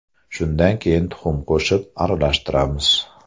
Shundan keyin tuxum qo‘shib, aralashtiramiz.